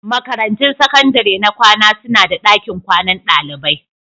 Makarantun sakandare na kwana suna da dakin kwanan dalibai.